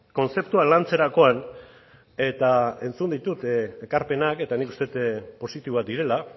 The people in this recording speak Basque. kontzeptua lantzerakoan eta entzun ditut ekarpenak eta nik uste dut positiboak direla